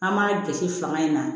An b'a jɔsi fanga in na